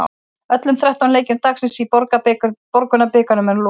Öllum þrettán leikjum dagsins í Borgunarbikarnum er nú lokið.